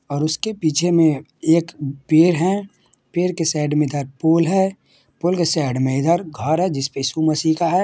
और उसके पीछे में एक पेड़ है पेड़ के साइड में इधर पॉल है पॉल के साइड में इधर घर है जिस पे इशू मसीह का है--